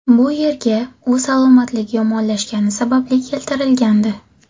Bu yerga u salomatligi yomonlashgani sababli keltirilgandi.